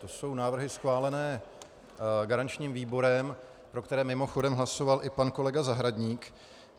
To jsou návrhy schválené garančním výborem, pro které mimochodem hlasoval i pan kolega Zahradník.